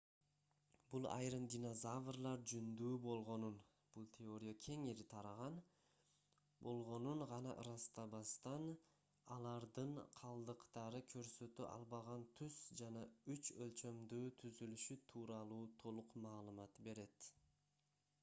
бул айрым динозаврлар жүндүү болгонун бул теория кеңири тараган гана ырастабастан алардын калдыктары көрсөтө албаган түс жана үч өлчөмдүү түзүлүшү тууралуу толук маалымат берет